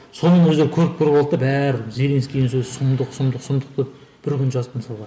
соның өзін көріп көріп алды да бәрі зеленскийдің сөзі сұмдық сұмдық сұмдық деп бір күн жазды мысалға